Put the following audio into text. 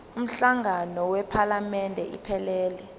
umhlangano wephalamende iphelele